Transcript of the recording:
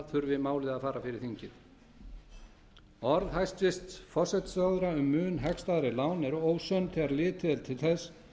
þurfi málið að fara fyrir þingið orð forsætisráðherra um mun hagstæðari lán eru ósönn þegar litið er til þess